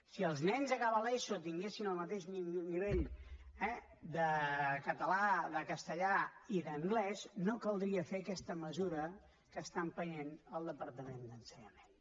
si els nens a l’acabar l’eso tinguessin el mateix nivell eh de català de castellà i d’anglès no caldria fer aquesta mesura que està empenyent el departament d’ensenyament